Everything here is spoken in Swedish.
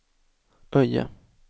Öje